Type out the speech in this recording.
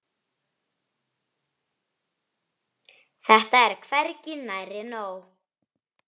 Þetta er hvergi nærri nóg.